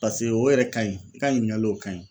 Paseke o yɛrɛ ka ɲi i ka ɲiningali o ka ɲi .